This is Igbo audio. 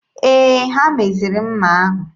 Ee, ha meziri mma ahụ.